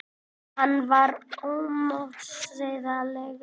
Hann var ómótstæðilegur.